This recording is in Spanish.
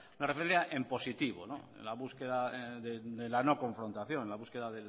en positivo en la búsqueda de la no confrontación la búsqueda